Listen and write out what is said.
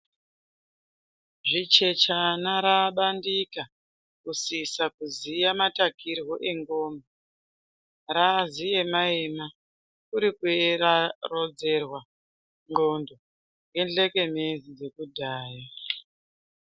Zvichechana raabandika, kusisa kuziya matakirwo endxondo. Raaziyema-yema kuti kuyera rodzerwa ndxondo ngenzekenezi dzekudhaya.